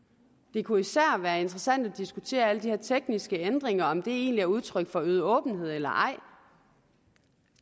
det kunne især være interessant at diskutere alle de her tekniske ændringer og om de egentlig er udtryk for øget åbenhed eller ej